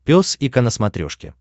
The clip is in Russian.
пес и ко на смотрешке